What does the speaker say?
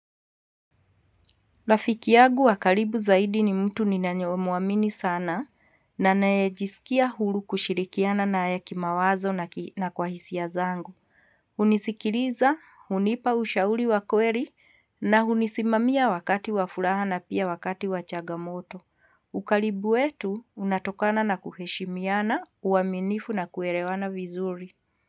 Rafiki yagu wakaribu zaidi ni mtu ni nanyo muamini sana na nae jisikia hulu kushirikiana na haya kimawazo na kwa hisia zangu. Unisikiriza, unipa ushauri wa kweri na unisimamia wakati wa furaha na pia wakati wa chagamoto. Ukaribu wetu unatokana na kuheshimiana, uaminifu na kuerewana vizuri.